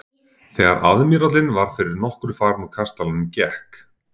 Þegar aðmírállinn var fyrir nokkru farinn úr kastalanum gekk